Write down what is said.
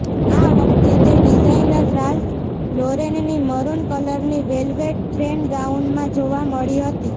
આ વખતે તે ડિઝાઇનર રાલ્ફ લોરેનની મરુન કલરની વેલવેટ ટ્રેન ગાઉનમાં જોવા મળી હતી